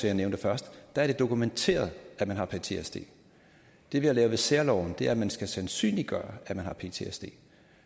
jeg nævnte først er det dokumenteret at man har ptsd det vi har lavet med særloven er at man skal sandsynliggøre at man har ptsd